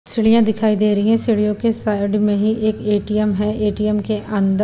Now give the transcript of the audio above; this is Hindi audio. सीढ़ियां दिखाई दे रहीं हैं सीढ़ियों के साइड मे ही एक ए_टी_एम हैं ए_टी_एम के अंदर--